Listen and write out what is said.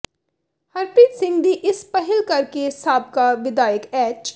ਹਰਪ੍ਰੀਤ ਸਿੰਘ ਦੀ ਇਸ ਪਹਿਲ ਕਰ ਕੇ ਸਾਬਕਾ ਵਿਧਾਇਕ ਐਚ